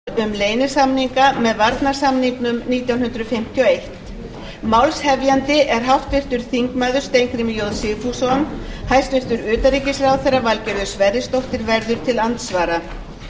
um klukkan fjögur í dag fer fram umræða utan dagskrá um leynisamninga með varnarsamningnum nítján hundruð fimmtíu og eitt málshefjandi er háttvirtur þingmaður steingrímur j sigfússon hæstvirts utanríkisráðherra valgerður sverrisdóttir verður til andsvara